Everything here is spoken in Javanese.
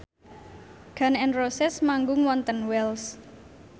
Gun n Roses manggung wonten Wells